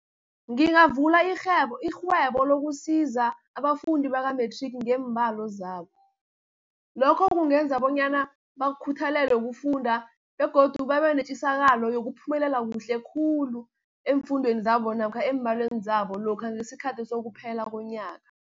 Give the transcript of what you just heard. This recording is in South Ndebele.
Ngingavula irhwebo lokusiza abafundi baka-matric ngeembalo zabo. Lokho kungenza bonyana bakhuthalele ukufunda, begodu babe netjisakalo yokuphumelela kuhle khulu eemfundweni zabo, namkha eembalweni zabo lokha ngesikhathi sokuphela konyaka.